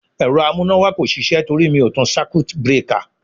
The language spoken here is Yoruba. Ẹ̀rọ amúnáwá kò sisẹ́ torí mi ò tan circuit breaker.